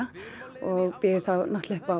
og býður þá upp á